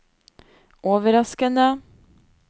overraskende